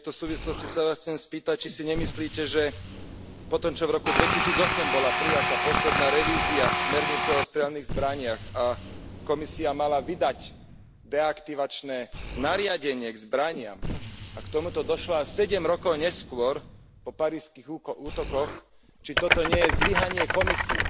V tejto súvislosti sa vás chcem spýtať, či si nemyslíte, že potom, čo v roku 2007 bola prijatá posledná revízia smernice o strelných zbraniach a Komisia mala vydať deaktivačné nariadenie k zbraniam a k tomuto došlo až sedem rokov neskôr po parížskych útokoch, či toto nie je zlyhanie Komisie.